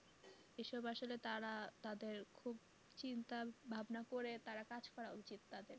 এসব আসলে তারা তাদের খুব চিন্তা ভাবনা করে তারা কাজ করা উচিত তাদের।